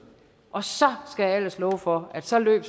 og så skal jeg ellers love for at så løb